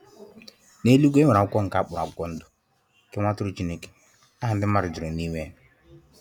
N'eluigwe e nwere akwụkwọ nke akpọrọ akwụkwọ ndụ nke nwa atụrụ Chineke. Aha ndi mmadụ juru n'ime ya.